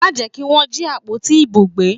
Má jẹ́ kí Wọ́n jí àpótí ìbò gbé!